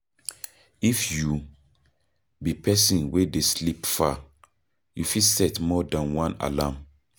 If you be person wey dey sleep far, you fit set more than one alarm